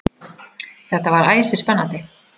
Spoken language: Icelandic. Þetta var æsispennandi.